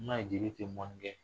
I m'a ye jeli tɛ mɔnni kɛ